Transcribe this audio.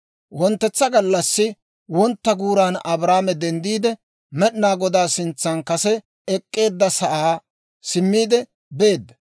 Wonttetsa gallassi wontta guuran Abrahaame denddiide, Med'inaa Godaa sintsan kase I ek'k'eedda sa'aa simmiide beedda.